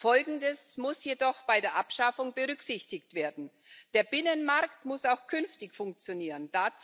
Folgendes muss jedoch bei der Abschaffung berücksichtigt werden Der Binnenmarkt muss auch künftig funktionieren.